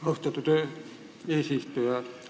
Austatud eesistuja!